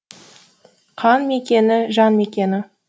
қан мекені жан мекені